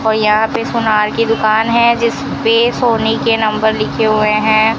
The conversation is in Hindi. और यहां पे सोनार की दुकान है जिस पे सोने के नंबर लिखे हुए हैं।